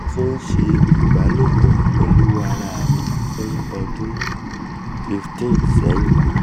mo ti n se ibalopo pelu ara mi fun odun 15 sẹhin